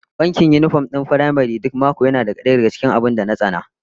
Wankin yinifom din firamare duk mako yana daya daga cikin abin da na tsana